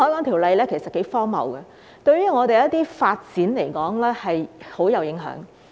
《條例》其實頗荒謬，對於我們的一些發展來說極具影響。